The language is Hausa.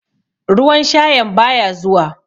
Ruwan shayan baya zuwa.